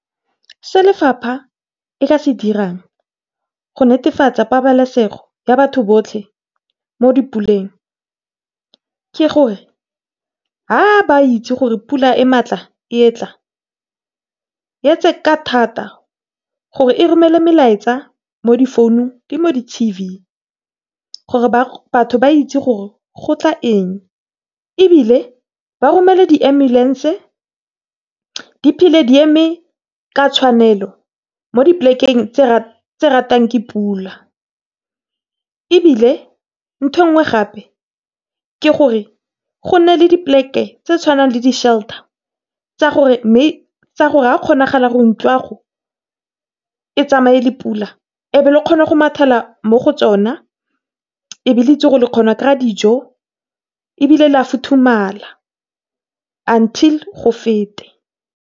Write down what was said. Se lefapha e ka se dirang go netefatsa pabalesego ya batho botlhe mo di puleng ke gore, ga ba itse gore pula e matla e yetla, yetse ka thata gore e romele melaetsa mo di founung le mo di T_V gore batho ba itse gore go tla eng. Ebile ba romele di ambulance di phele di eme ka tshwanelo mo di plek-eng tse ratwang ke pula. Ebile ntho engwe gape ke gore gona le di plek-e tse tshwanang le di shelter, tsa gore kgonagala ntlo ya go e tsamaye le pula, e be le kgona go mathela mo go tsona ebe le kgona go itsi go dijo ebile la futhulamala until go fete.